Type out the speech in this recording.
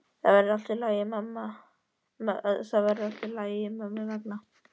Þetta verður allt í lagi mömmu vegna.